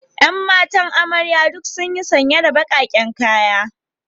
Yan matan amarya duk sunyi sanye da bakaken kaya.